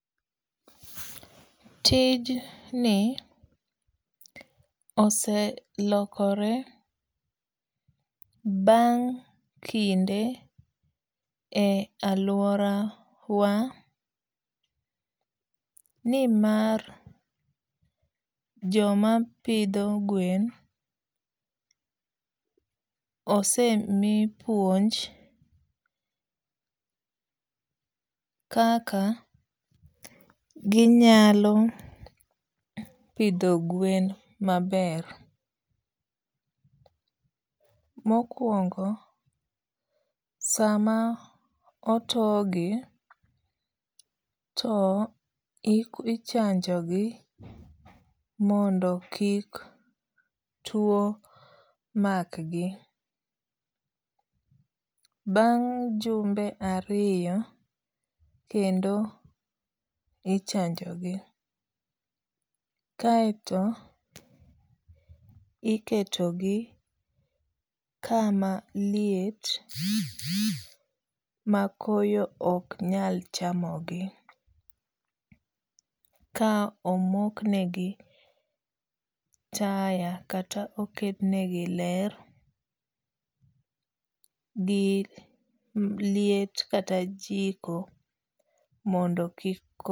Tijni oselokore bang' kinde e aluorawa ni mar joma pidho gwen osemi puonj kaka ginyalo pidho gwen maber. Mokuongo sama otogi, to ichanjogi mondo kik tuo makgi. Bang' jumbe ariyo kendo ichanjogi kaeto iketogi kama liet makoyo ok nyal chamogi ka omoknegi taya kata oketnegi ler gi liet kata jiko mondo kik ko